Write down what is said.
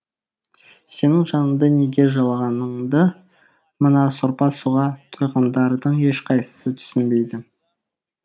сенің жаныңды неге жылағаныңды мына сорпа суға тойғандардың ешқайсысы түсінбейді